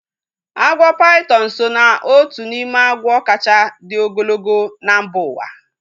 Agwọ paitọn so ná otu n'ime agwọ kacha dị ogologo na mba uwa